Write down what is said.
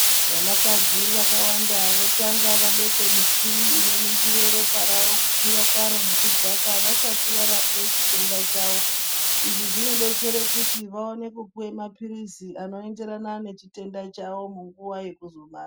Vanakadzi vakawanda votanga vabeke michini inoningire ropa rawo kukwira kwaro nekudzaka, vasati varapwe chitenda chawo. Izvi zvinodetsere kuti vawane kupiwe maphirisi anoyenderana nechitenda chawo munguwa yekuzorwara.